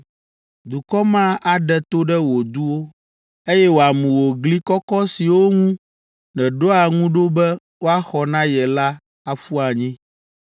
Dukɔ ma aɖe to ɖe wò duwo, eye wòamu wò gli kɔkɔ siwo ŋu nèɖoa ŋu ɖo be woaxɔ na ye la aƒu anyi.